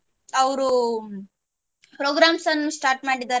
ಅವ್ರು programs ಅನ್ನು start ಮಾಡಿದ್ದಾರೆ.